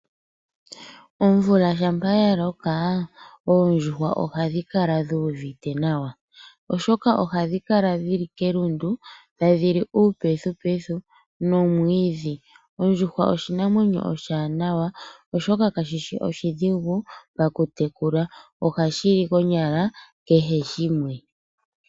Omvula shampa ya loko oondjuhwa ohadhi kala dhi uvite nawa, oshoka ohadhi kala dhi li kelundu tadhi li uupethupethu nuumwiidhi. Ondjuhwa oshinamwenyo oshiwanawa sho oshipu nokutekula oshoka ohashi li konyala kehe shimwe.